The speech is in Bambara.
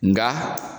Nga